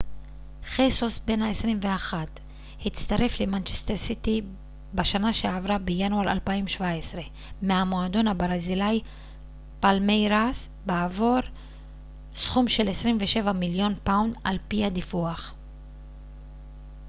חסוס בן ה 21 הצטרף למנצ'סטר סיטי בשנה שעברה בינואר 2017 מהמועדון הברזילאי פאלמייראס בעבור סכום של 27 מיליון פאונד על פי הדיווח